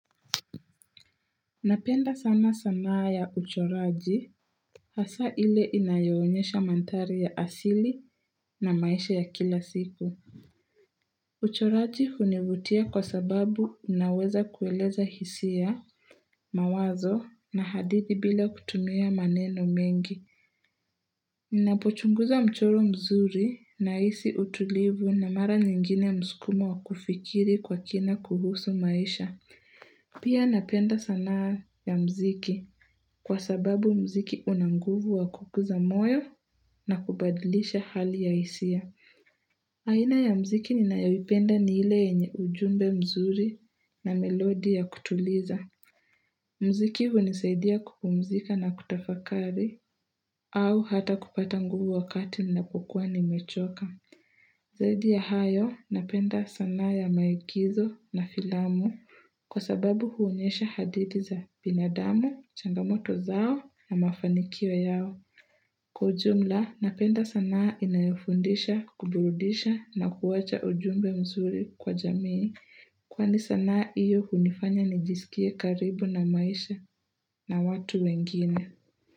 Napenda sana sanaa ya uchoraji hasa ile inayoonyesha mandhari ya asili na maisha ya kila siku uchoraji hunivutia kwa sababu inaweza kueleza hisia mawazo na hadithi bila kutumia maneno mengi Inapochunguza mchoro mzuri nahisi utulivu na mara nyingine msukumo wa kufikiriri kwa kina kuhusu maisha Pia napenda sana ya mziki kwa sababu mziki una nguvu wa kukuza moyo na kubadilisha hali ya hisia. Aina ya mziki ninayoipenda ni ile enye ujumbe mzuri na melodi ya kutuliza. Mziki hunisaidia kupumzika na kutafakari au hata kupata nguvu wakati na hukua nimechoka. Zaidi ya hayo, napenda sana ya maigizo na filamu kwa sababu huonyesha hadithi za binadamu, changamoto zao na mafanikio yao. Kwa ujumla, napenda sana inayofundisha, kuburudisha na kuwaacha ujumbe mzuri kwa jamii. Kwani sanaa hiyo hunifanya nijisikie karibu na maisha na watu wengine.